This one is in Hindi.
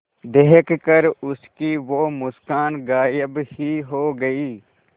देखकर उसकी वो मुस्कान गायब ही हो गयी